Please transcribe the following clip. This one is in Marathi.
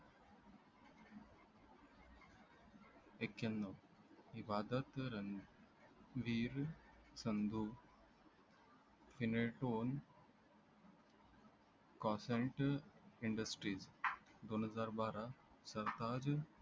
एक्यांन इबदत रंविर संधू तों consent industries दोन हजार बारा